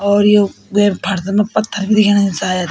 और यु वेक फ़र्स मा पत्थर भी दिखेणा शायद।